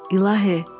İlahi!